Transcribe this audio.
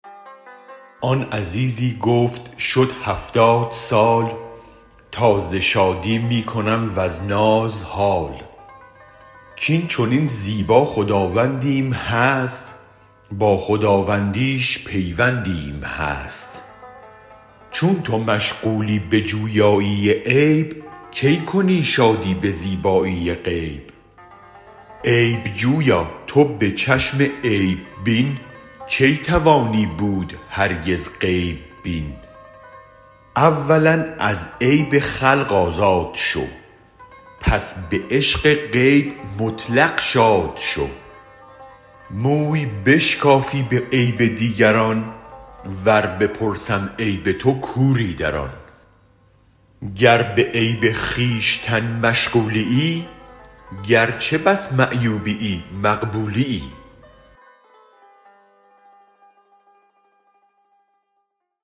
آن عزیزی گفت شد هفتاد سال تا ز شادی می کنم و از ناز حال کین چنین زیبا خداوندیم هست با خداوندیش پیوندیم هست چون تو مشغولی بجویایی عیب کی کنی شادی به زیبایی غیب عیب جویا تو به چشم عیب بین کی توانی بود هرگز غیب بین اولا از عیب خلق آزاد شو پس به عشق غیب مطلق شاد شو موی بشکافی به عیب دیگران ور بپرسم عیب تو کوری در آن گر به عیب خویشتن مشغولیی گرچه بس معیوبیی مقبولیی